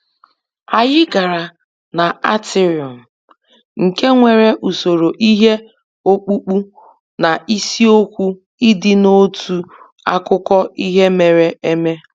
Anyị gara na atrium, nke nwere usoro ihe ọkpụkpụ na isiokwu ịdị n'otu akụkọ ihe mere eme